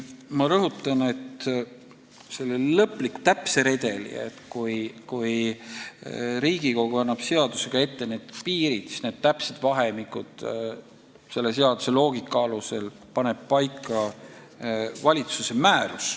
Ma rõhutan, et selle lõpliku täpse redeli, kui Riigikogu annab seadusega piirid ette, kõik need täpsed vahemikud paneb selle seaduse loogika alusel paika valitsuse määrus.